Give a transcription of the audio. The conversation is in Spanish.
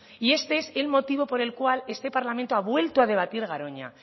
y este es el motivo por el cual este parlamento ha vuelto a debatir garoña